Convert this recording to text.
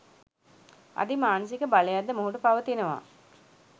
අධි මානසික බයලක් ද මොහුට පවතිනවා